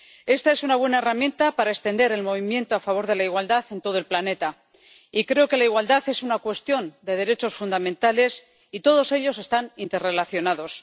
Esta es una buena herramienta para extender el movimiento a favor de la igualdad en todo el planeta y creo que la igualdad es una cuestión de derechos fundamentales y todos ellos están interrelacionados.